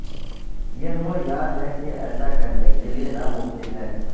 یہ وہ یاد ہے کہ ایسا کرنے کے لئے ناممکن ہے